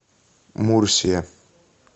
мурсия